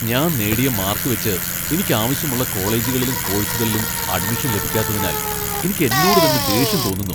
ഞാൻ നേടിയ മാർക്കുവച്ച് എനിക്ക് ആവശ്യമുള്ള കോളേജുകളിലും കോഴ്സുകളിലും അഡ്മിഷൻ ലഭിക്കാത്തതിനാൽ എനിക്ക് എന്നോട് തന്നെ ദേഷ്യം തോന്നുന്നു .